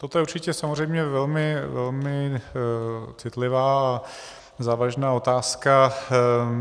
Toto je určitě samozřejmě velmi, velmi citlivá a závažná otázka.